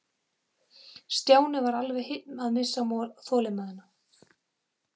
Stjáni var alveg að missa þolinmæðina.